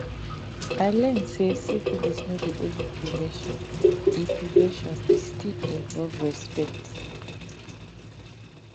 i learn say syphilis no be only prevention e prevention e still involve respect